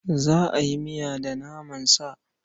Za a yi miya da naman sa.